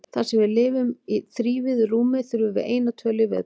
Þar sem við lifum í þrívíðu rúmi þurfum við eina tölu í viðbót.